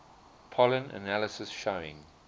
pollen analysis showing